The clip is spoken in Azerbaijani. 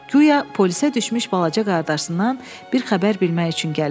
Guya polisə düşmüş balaca qardaşından bir xəbər bilmək üçün gəlib.